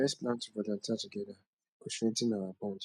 lets plan to volunteer together e go strengthen our bond